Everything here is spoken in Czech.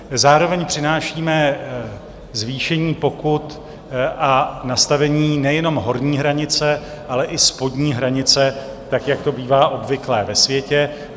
Zároveň přinášíme zvýšení pokut a nastavení nejenom horní hranice, ale i spodní hranice tak, jak to bývá obvyklé ve světě.